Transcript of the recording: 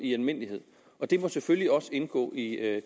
i almindelighed og det må selvfølgelig også indgå i